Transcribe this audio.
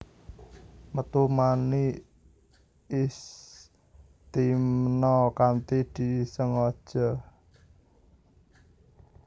Metu mani Istimna kanthi disengaja